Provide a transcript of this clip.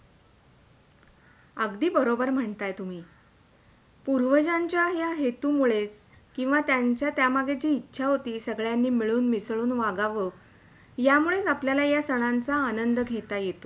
अगदी बरोबर म्हणताय तुम्ही , पूर्वजांच्या या हेतु मुळेच किंवा त्यांची त्या मागे जी इच्छा होती, सगळ्यांनी मिळून मिसळून वागवं यामुळेच आपल्याला या सणांचा आनंद घेता येते.